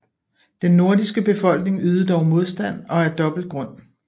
Den nordiske befolkning ydede dog modstand og af dobbelt grund